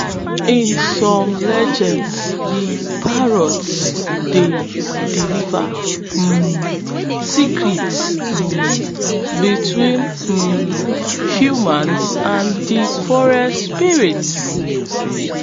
in some legends de parrot dey deliver um secrets um between um humans and de forest spirits